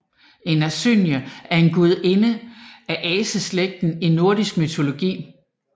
En asynje er en gudinde af aseslægten i nordisk mytologi